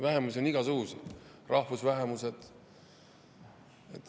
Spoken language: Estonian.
Vähemusi on igasuguseid, on ka rahvusvähemused.